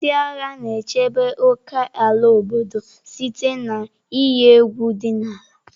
Ndị agha na-echebe ókèala obodo site na iyi egwu dị n'ala.